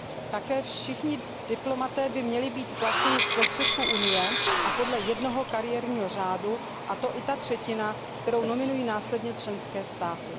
Také všichni diplomaté by měli být placeni z prostředků Unie a podle jednoho kariérního řádu, a to i ta třetina, kterou nominují následně členské státy.